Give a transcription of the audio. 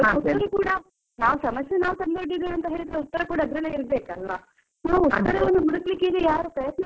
ನಾವ್ ಸಮಸ್ಯೆ ನಾವು ತಂದು ಒಡ್ಡಿದ್ದೇವೆ ಅಂತಾ ಅಂದ್ಮೇಲೆ ಉತ್ತರ ಕೂಡ ಅದ್ರಲ್ಲೇ ಇರ್ಬೇಕಲ್ವಾ? ನಾವು ಉತ್ತರವನ್ನು ಹುಡುಕ್ಲಿಕ್ಕೆ ಈಗ ಯಾರು ಪ್ರಯತ್ನ ಮಾಡ್ತಿಲ್ಲ ಅಂತಾ?